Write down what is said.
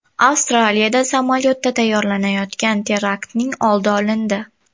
Avstraliyada samolyotda tayyorlanayotgan teraktning oldi olindi.